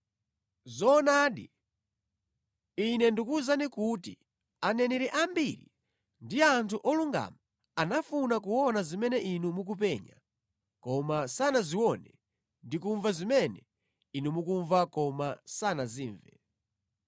Zoonadi, Ine ndikuwuzani kuti aneneri ambiri ndi anthu olungama anafuna kuona zimene inu mukupenya koma sanazione ndi kumva zimene inu mukumva koma sanazimve.